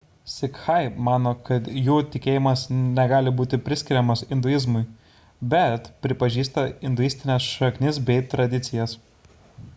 sikhai mano kad jų tikėjimas negali būti priskiriamas induizmui bet pripažįsta induistines šaknis bei tradicijas